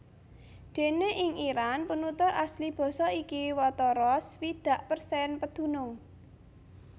Déné ing Iran penutur asli basa iki watara swidak persen pedunung